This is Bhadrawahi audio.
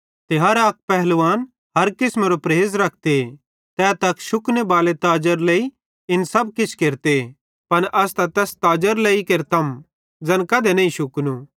ते हर अक पलवान हर किसमेरो परेज़ रखते तै त अक शुकने बाले ताजेरे लेइ इन सब किछ केरते पन अस त तैस ताजेरे लेइ केरतम ज़ैन कधी नईं शुकनू